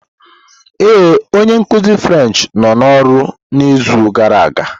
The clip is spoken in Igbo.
Ee, onye nkuzi French nọ n'ọrụ n'izu gara aga.